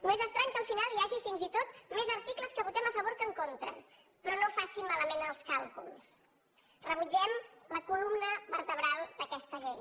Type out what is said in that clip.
no és estrany que al final hi hagi fins i tot més articles que votem a favor que en contra però no facin malament els càlculs rebutgem la columna vertebral d’aquesta llei